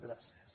gràcies